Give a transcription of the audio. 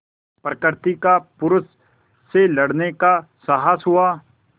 प्रकृति का पुरुष से लड़ने का साहस हुआ